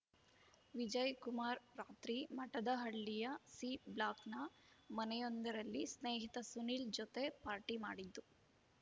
ವಿಜಯ್ ಕುಮಾರ್ ರಾತ್ರಿ ಮಠದಹಳ್ಳಿಯ ಸಿ ಬ್ಲಾಕ್‌ನ ಮನೆಯೊಂದರಲ್ಲಿ ಸ್ನೇಹಿತ ಸುನಿಲ್ ಜೊತೆ ಪಾರ್ಟಿ ಮಾಡಿದ್ದು